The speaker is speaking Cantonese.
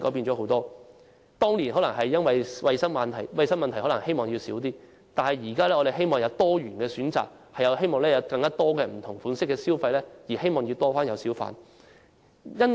政府當年可能因衞生問題而減少小販的數目，但我們現在希望有多元選擇，提供更多不同類型的消費模式，因此希望增加小販的數目。